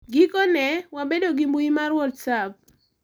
Gikone, wabedo gi mbui mar WhatsApp.